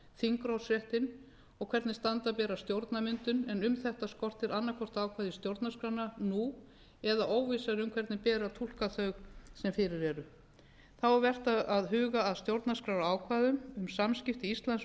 þingrofsréttinn og hvernig standa beri að stjórnarmyndun en um þetta skortir annaðhvort ákvæði í stjórnarskrána nú eða óvissa er um hvernig beri að túlka þau sem fyrir eru þá er vert að huga að stjórnarskrárákvæðum um samskipti íslands við